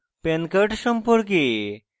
pan card সম্পর্কে